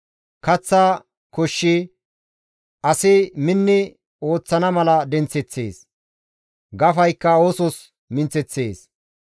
Kaththa koshshi asi minni ooththana mala denththeththees; gafaykka oosos minththeththees.